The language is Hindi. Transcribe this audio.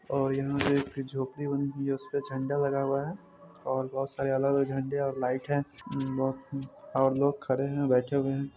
और यहां पे एक झोपड़ी बनी हुई है उसपे झंडा लगा हुआ है और बहुत सारे अलग-अलग झंडे और लाइट है और लोग खड़े है बैठे हुए है।